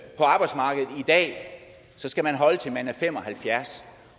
så skal man holde til man er fem og halvfjerds